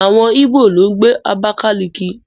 Àwọn Íbò ló ń gbé Abákáliki